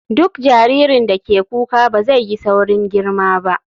Duk jaririn da ke kuka ba zai yi saurin girma ba.